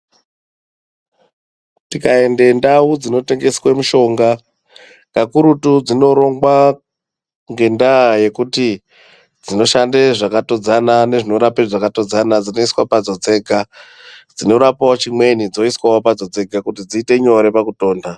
Tikarende ndau dzinotengeswe mushonga kakurutu dzinorongwa ngendaa yekuti dzinoshande zvakatodzana nezvinorape zvakatodzana. Dzinoiswa padzo dzega dzinorapavo chimweni dzoiswavo padzo dzega dziite nyore pakutonha.